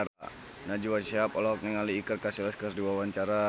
Najwa Shihab olohok ningali Iker Casillas keur diwawancara